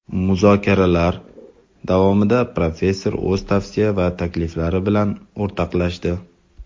Muzokaralar davomida professor o‘z tavsiya va takliflari bilan o‘rtoqlashdi.